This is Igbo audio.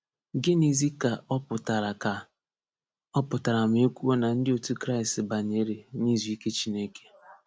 Gịnịzi ka ọ pụtara ka ọ pụtara ma e kwuo na ndị otu Kraịst banyere n’izu ike Chineke?